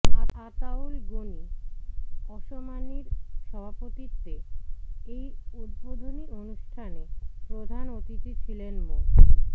আতাউল গনি ওসমানীর সভাপতিত্বে এই উদ্বোধনী অনুষ্ঠানে প্রধান অতিথি ছিলেন মো